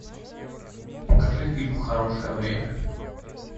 покажи фильм хорошее время